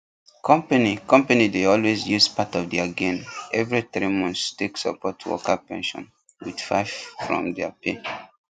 company company dey always use part of their gain every three months take support worker pension with 5 from their pay